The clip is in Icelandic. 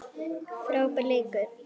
Frábær leikur.